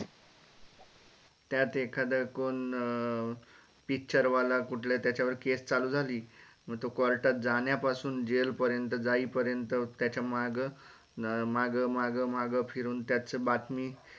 त्यात एखाद कोण अं picture वाला कुठल्या त्याचा वर case चालू झाली म तो court तात जाण्यापासून jail पर्यंत जाई पर्यंत त्याचा माग माग माग माग फिरून त्याची बातमी